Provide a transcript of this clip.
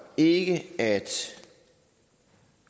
ikke at